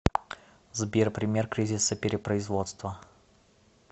сбер пример кризиса перепроизводства